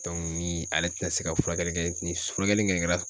ni ale ti na se ka furakɛli kɛ ni furakɛli kɛla